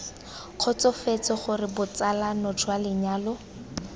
kgotsofetse gore botsalano jwa lenyalo